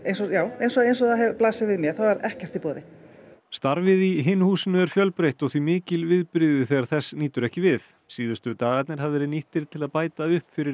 eins og eins og það blasir við mér þá er ekkert í boði starfið í Hinu húsinu er fjölbreytt og því mikil viðbrigði þegar þess nýtur ekki við síðustu dagarnir hafa verið nýttir til að bæta upp fyrir